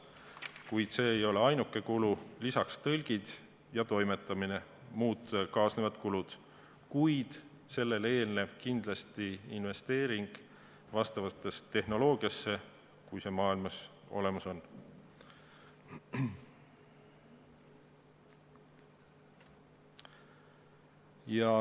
Kuid see ei ole ainuke kulu, lisaks on vaja tõlke ja toimetamist, on muud kaasnevad kulud, kuid sellele eelneb kindlasti investeering tehnoloogiasse, kui see maailmas olemas on.